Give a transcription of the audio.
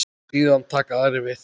Síðan taka aðrir við.